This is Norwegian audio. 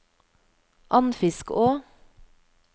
Andfiskå